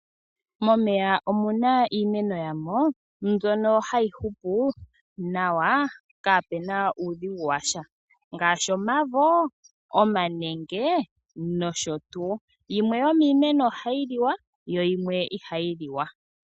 Momeya omuna iimeno yamo, mbyono hayi hupu nawa kaapena uudhigu washa. Ngaashi omavo, omanenge, nosho tuu. Yimwe yomiimeno ohayi liwa, yo yimwe ihayi liwa.